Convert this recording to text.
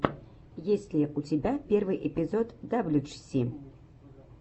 есть ли у тебя первый эпизод даблюджиси